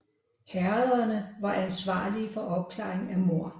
Herrederne var ansvarlige for opklaring af mord